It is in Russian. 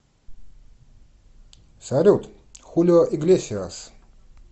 салют хулио иглесиас